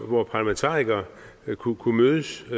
hvor parlamentarikere kunne kunne mødes